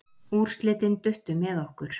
Úrslitin duttu með okkur.